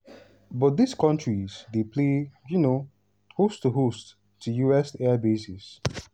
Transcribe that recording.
but dis kontris dey play um host to host to us airbases.